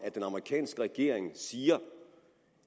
at den amerikanske regering siger